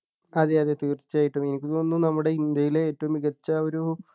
അതെ അതെ തീർച്ചയായിട്ടും എനിക്ക് തോന്നുന്നു നമ്മുടെ ഇന്ത്യയിലെ ഏറ്റവും മികച്ച ഒരു